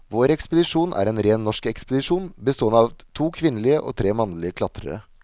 Vår ekspedisjon er en ren norsk ekspedisjon, bestående av to kvinnelige og tre mannlige klatrere.